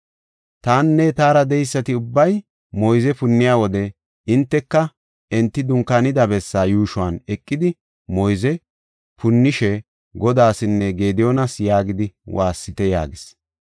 Tanne taara de7eysati ubbay moyze punniy wode hinteka enti dunkaanida bessaa yuushuwan eqidi moyze punnishe, ‘Godaasanne Gediyoonasa’ yaagidi waassite” yaagis.